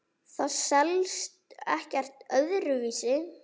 Það selst ekkert öðru vísi.